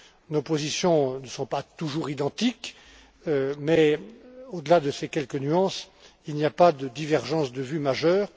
Nos positions ne sont pas toujours identiques mais, au delà de ces quelques nuances, il n'y a pas de divergences de vue majeures.